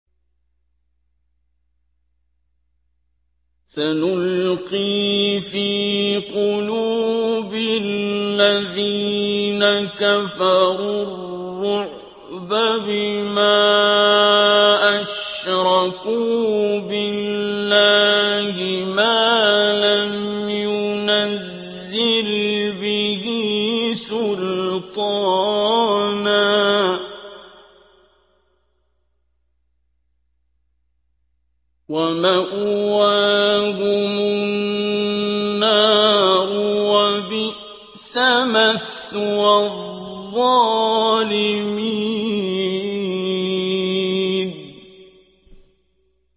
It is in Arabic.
سَنُلْقِي فِي قُلُوبِ الَّذِينَ كَفَرُوا الرُّعْبَ بِمَا أَشْرَكُوا بِاللَّهِ مَا لَمْ يُنَزِّلْ بِهِ سُلْطَانًا ۖ وَمَأْوَاهُمُ النَّارُ ۚ وَبِئْسَ مَثْوَى الظَّالِمِينَ